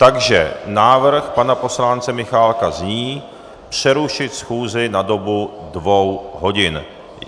Takže návrh pana poslance Michálka zní: přerušit schůzi na dobu dvou hodin.